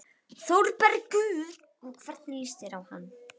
ÞÓRBERGUR: Og hvernig líst þér á hann?